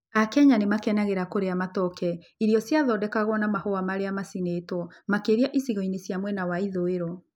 Akenya nĩ makenagĩra kũrĩa matoke, irio ciathondekagwo na mahũa marĩa macinĩtwo, makĩria icigo-inĩ cia mwena wa ithũĩro.